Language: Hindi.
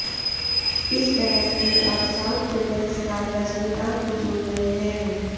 इस बहस में अब साउथ सुपरस्टार रजनीकांत भी जुड़ गए हैं